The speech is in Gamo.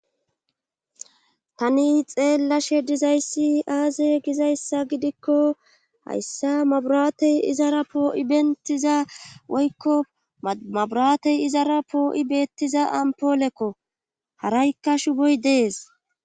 tani xeellashe dizayssi aaze gizayssa gidikko hayssa maburatey izara poo7i bentiza woykko maburatey izara poo7i beettiza ampoolekko haraykka shuboy dees